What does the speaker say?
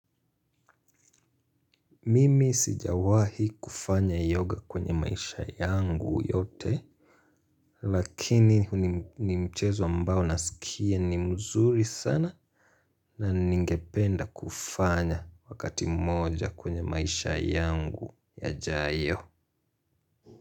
Mimi sijawahi kufanya yoga kwenye maisha yangu yote. Lakini ni mchezo ambao nasikia ni mzuri sana. Na ningependa kufanya wakati mmoja kwenye maisha yangu yajayo.